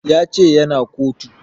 Ya ce ya na kotu